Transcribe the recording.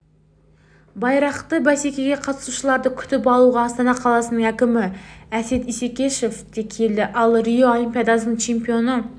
байрақты бәсекеге қатысушыларды күтіп алуға астана қаласының әкімі әсет исекешев те келді ал рио олимпиадасының чемпионы